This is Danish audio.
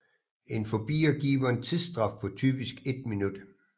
En forbier giver en tidsstraf på typisk 1 min